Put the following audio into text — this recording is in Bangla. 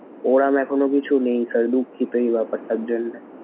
ওরকম এখনো কিছু নেই sir দুঃখিত এই ব্যাপারটার জন্যে।